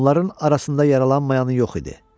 Onların arasında yaralanmayan yox idi.